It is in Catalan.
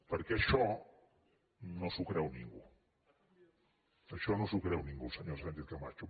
perquè això no s’ho creu ningú això no s’ho creu ningú senyora sánchez camacho